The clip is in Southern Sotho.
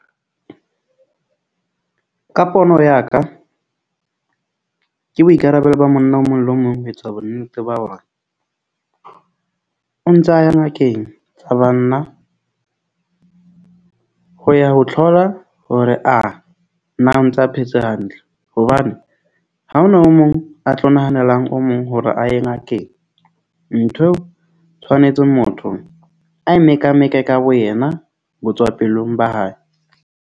Ka pono ya ka ke boikarabelo ba monna o mong le mong ho etsa bonnete ba hore o ntsa ya ngakeng ya banna. Ho ya ho tlhola hore a na o ntsa phetse hantle. Hobane ha ho na o mong a tlo nahanelang o mong hore a ye ngakeng. Ntho eo tshwanetse motho a eme ka ka wena ho tswa pelong ba hae.